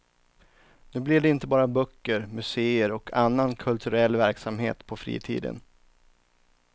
Nu blir det inte bara böcker, museer och annan kulturell verksamhet på fritiden.